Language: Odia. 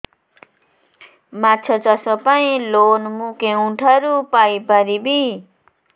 ମାଛ ଚାଷ ପାଇଁ ଲୋନ୍ ମୁଁ କେଉଁଠାରୁ ପାଇପାରିବି